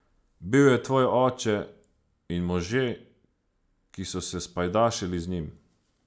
Bil je tvoj oče in možje, ki so se spajdašili z njim.